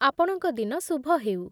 ଆପଣଙ୍କ ଦିନ ଶୁଭ ହେଉ।